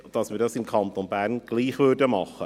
Dies soll im Kanton Bern gleich gemacht werden.